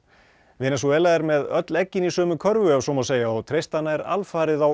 Venesúela er með öll eggin í sömu körfu ef svo má segja og treysta nær alfarið á